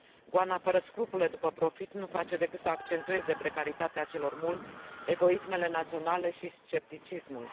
Goana fără scrupule după profit nu face decât să accentueze precaritatea celor mulți, egoismele naționale și scepticismul.